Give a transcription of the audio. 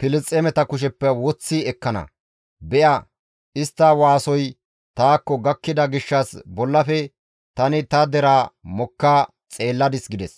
Filisxeemeta kusheppe woththi ekkana; be7a istta waasoy taakko gakkida gishshas bollafe tani ta deraa mokka xeelladis» gides.